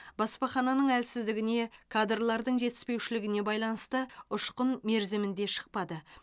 баспахананың әлсіздігіне кадрлардың жетіспеушілігіне байланысты ұшқын мерзімінде шықпады